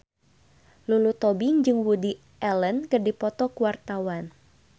Lulu Tobing jeung Woody Allen keur dipoto ku wartawan